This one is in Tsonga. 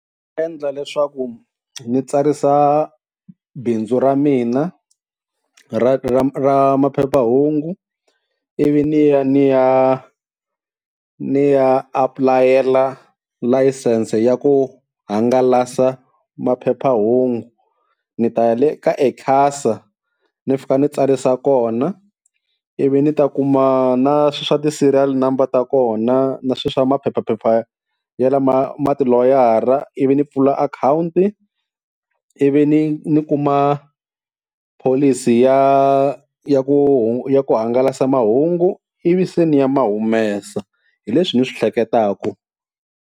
Endla leswaku ni tsarisa bindzu ra mina ra ra ra maphephahungu ivi ni ya ni ya ni ya apulayela layisense ya ku hangalasa maphephahungu ni ta ya le ka eCasa ni fika ni tsarisa kona, ivi ni ta kuma na swa ti-serial number ta kona na swi swa maphephaphepha ya lama ma tiloya, ivi ni pfula akhawunti, ivi ni ni kuma pholisi ya ya ku ya ku hangalasa mahungu ivi seni ni ya humesa hi leswi ni swi hleketaku.